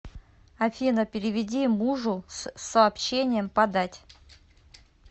афина переведи мужу с сообщением подать